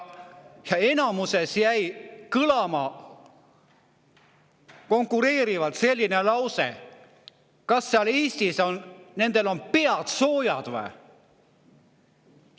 Ja enamasti jäi kõlama: kas neil seal Eestis on pead soojad või?